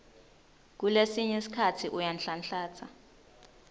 kulesinye sikhatsi uyanhlanhlatsa